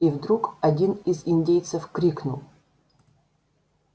и вдруг один из индейцев крикнул